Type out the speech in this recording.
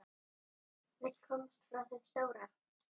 Vill komast frá þeim stóra.